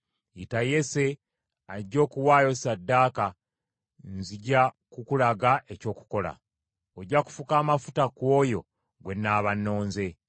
Yita Yese ajje okuwaayo ssaddaaka, nzija kukulaga eky’okukola. Ojja kufuka amafuta ku oyo gwe nnaaba nnonze.”